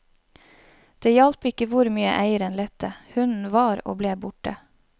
Det hjalp ikke hvor mye eieren lette, hunden var og ble borte.